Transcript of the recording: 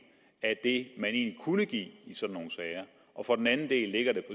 af det man egentlig kunne give i sådan nogle sager og for den anden del ligger den